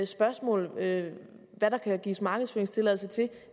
spørgsmål hvad der kan gives markedsføringstilladelse til